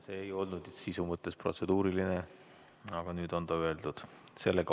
See ei olnud sisu mõttes protseduuriline, aga nüüd on ta öeldud.